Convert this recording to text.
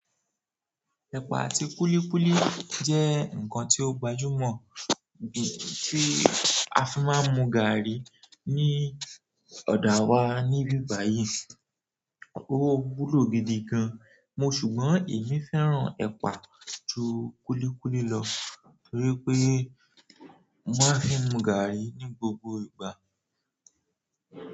Ẹpa àti kúlíkúlí jẹ nǹkan tí ó gbajumọ tí a fi máa ń mu gààrí ní ọdọ àwa ni ibi bayi. Ó wúlò gidi gan, mo ṣùgbọ́n èmi fẹ́ràn ẹ̀pà jù kúlíkúlí lọ torí pé mo máa ń fi mu gààrí ní gbogbo ìgbà.